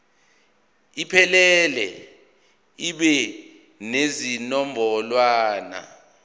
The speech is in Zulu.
iphelele ibe nezinombolwana